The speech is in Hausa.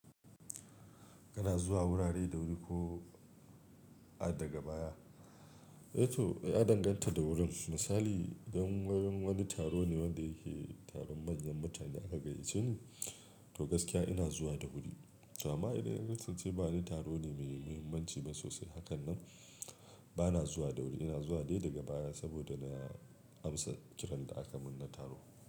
Kana zuwa wurare da wuri ko a daga baya? Eh to, ya danganta da wurin. Misali idan wurin wani taro ne wanda yake taron manyan mutane aka yi, shi to gaskiya ina zuwa da wuri. Amma idan ya kasance ba wani taro ne mai muhimmanci ba sosai, hakan nan ba na zuwa da wuri, ina zuwa dai daga baya saboda na amsa kiran da aka mun na taro.